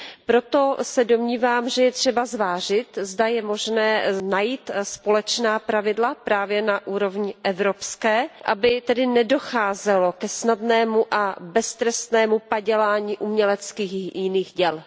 Proto se domnívám, že je třeba zvážit, zda je možné najít společná pravidla právě na úrovni evropské, aby tedy nedocházelo ke snadnému a beztrestnému padělání uměleckých i jiných děl.